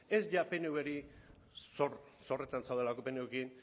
ez pnv rekin zorretan zaudelako